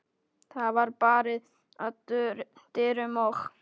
Það var barið að dyrum og